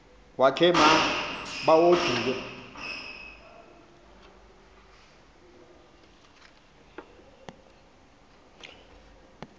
wakhe ma baoduke